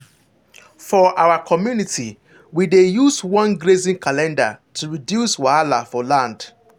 for our community we dey use one grazing calendar to reduce wahala for land.